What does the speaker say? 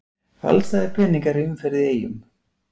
Falsaðir peningar í umferð í Eyjum